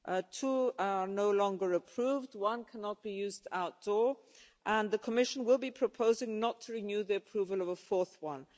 Two are no longer approved, one cannot be used outdoors, and the Commission will be proposing not to renew the approval of a fourth one.